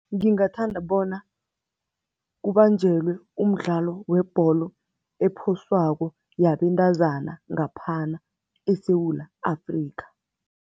Ngingathanda bona kubanjelwe umdlalo webholo ephoswako yabentazana ngaphana eSewula Afrika.